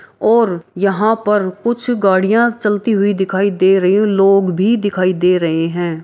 और यहाँ पर कुछ गाड़ियाँ चलती हुई दिखाई दे रही हैं लोग भी दिखाई दे रहे हैं।